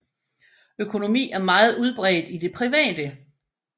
Økonomi er meget udbredt i det private